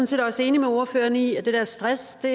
set også enig med ordføreren i at stress i